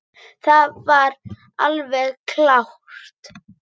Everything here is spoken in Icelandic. Það er alveg klárt.